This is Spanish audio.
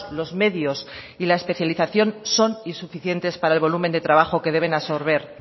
los medios y la especialización son insuficientes para el volumen de trabajo que deben absorber